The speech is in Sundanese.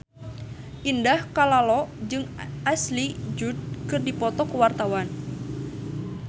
Indah Kalalo jeung Ashley Judd keur dipoto ku wartawan